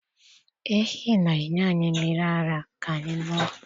Ehi na-enye anyị mmiri ara ka anyị ṅụọ.